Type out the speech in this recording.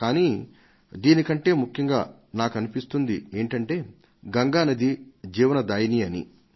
కానీ దీని కంటే ముఖ్యంగా నాకనిపిస్తుంది ఏంటంటే గంగా నది జీవనదాయిని అని